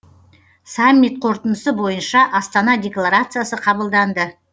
саммит қорытындысы бойынша астана декларациясы қабылданды